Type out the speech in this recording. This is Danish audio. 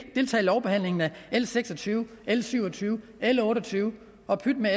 deltager i lovbehandlingen af l seks og tyve l syv og tyve l otte og tyve og pyt med